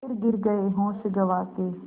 फिर गिर गये होश गँवा के